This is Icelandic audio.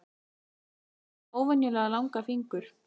Hann er með óvenjulega langa fingur.